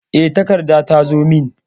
E, takarda ta zo min.